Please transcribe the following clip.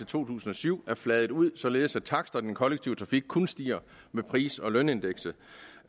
to tusind og syv er fladet ud således at taksterne i den kollektive trafik kun stiger med pris og lønindekset